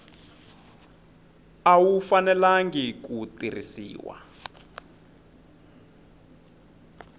a wu fanelangi ku tirhisiwa